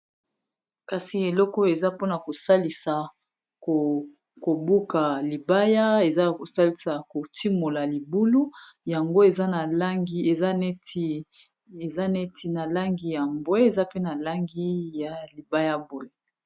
kasi eleko o eza mpona kosalisa kobuka libaya eza kosalisa kotimola libulu yango eza neti na langi ya mbwe eza pe na langi ya libayabole